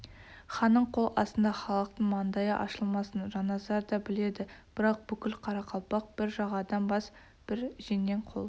ханның қол астында халықтың маңдайы ашылмасын жанназар да біледі бірақ бүкіл қарақалпақ бір жағадан бас бір жеңнен қол